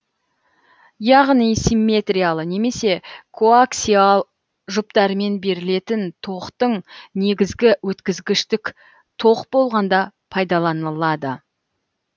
яғни симметриялы немесе коаксиал жүптарымен берілетін тоқтың негізі өткізгіштік тоқ болғанда пайдаланылады